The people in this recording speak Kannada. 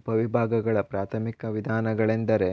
ಉಪವಿಭಾಗಗಳ ಪ್ರಾಥಮಿಕ ವಿಧಾನಗಳೆಂದರೆ